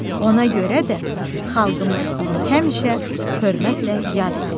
Ona görə də xalqımız onu həmişə hörmətlə yad edəcək.